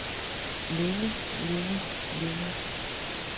længe længe længe